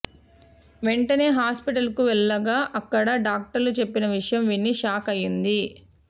వెంటనే హాస్పిటల్ కు వెళ్లగా అక్కడ డాక్టర్లు చెప్పిన విషయం విని షాక్ అయ్యింది